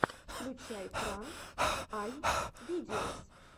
включай пранк ай видеос